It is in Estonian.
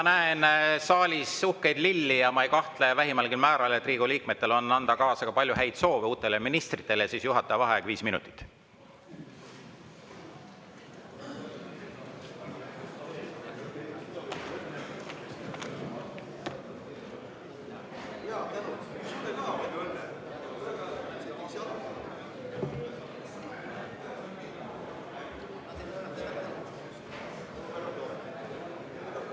Kuna ma näen saalis uhkeid lilli ja ma ei kahtle vähimalgi määral, et Riigikogu liikmetel on anda kaasa ka palju häid soove uutele ministritele, siis võtan juhataja vaheaja.